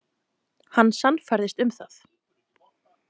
Hann sannfærðist um það.